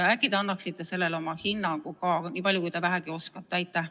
Äkki te annate ka sellele oma hinnangu, nii palju kui te vähegi oskate?